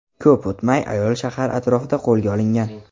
Ko‘p o‘tmay ayol shahar atrofida qo‘lga olingan.